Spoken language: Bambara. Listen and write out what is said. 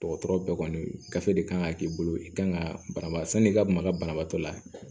Dɔgɔtɔrɔ bɛɛ kɔni gafe de kan ka k'i bolo i kan ka banabaas'i ka maga banabaatɔ la